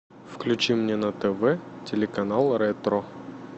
включи мне на тв телеканал ретро